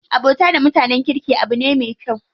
Abokanta da mutanen kirki abu ne me kyau.